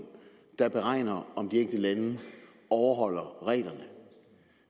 der beregner om de enkelte lande overholder reglerne